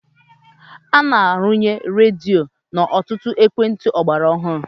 A na-arụnye redio n'ọtụtụ ekwentị ọgbara ọhụrụ.